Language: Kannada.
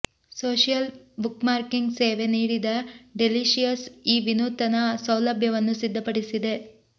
ಸೋಷಿಯಲ್ ಬುಕ್ಮಾರ್ಕಿಂಗ್ ಸೇವೆ ನೀಡಿದ ಡೆಲೀಷಿಯಸ್ ಈ ವಿನೂತನ ಸೌಲಭ್ಯವನ್ನು ಸಿದ್ಧಪಡಿಸಿದೆ